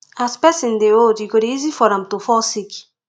as person dey old e go dey easy for am to fall sick